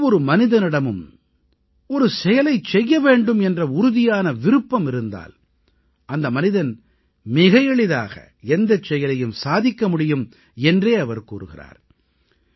எந்த ஒரு மனிதனிடமும் ஒரு செயலைச் செய்ய வேண்டும் என்ற உறுதியான விருப்பம் இருந்தால் அந்த மனிதன் மிக எளிதாக எந்தச் செயலையும் சாதிக்க முடியும் என்றே அவர் கூறுகிறார்